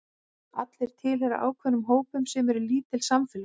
Allir tilheyra ákveðnum hópum sem eru lítil samfélög.